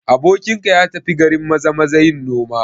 Abokinka ya tafi garin Maza-maza yin noma?